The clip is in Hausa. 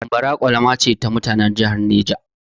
Bambara ƙwalama ce ta mutanan jihar Neja.